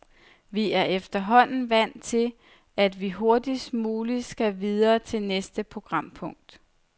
Vi er efterhånden vant til, at vi hurtigst muligt skal videre til næste programpunkt.